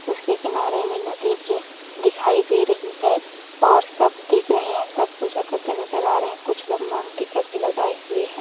उसके किनारे में नदी भी दिखाई दे रही है और सब दिख रहे है और सब पूजा करते नज़र आ रहे है कुछ लोग मांग टिका भी लगाये हुए है।